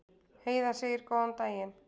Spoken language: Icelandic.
Heiða segir góðan daginn!